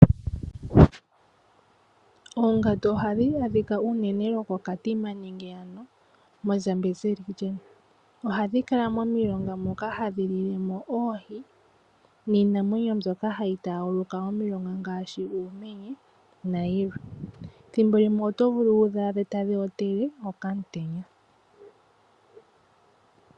Oongandu ohadhi adhika unene koKatima nenge koshitopolwa shaZambezi. Ohadhi kala momilonga moka hadhi lilemo oohi niinamwenyo mbyoka hayi taguluka omilonga nayilwe. Thimbo limwe oto vulu waade tadhi ontele okamutenya.